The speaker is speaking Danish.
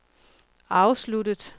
afsluttet